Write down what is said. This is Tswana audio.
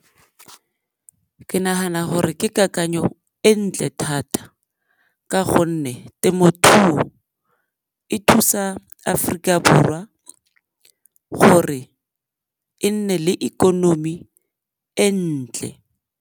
Ke nagana gore ke kakanyo e ntle thata ka gonne temothuo e thusa Aforika Borwa gore e nne le ikonomi e ntle.